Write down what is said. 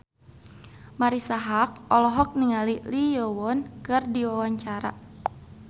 Marisa Haque olohok ningali Lee Yo Won keur diwawancara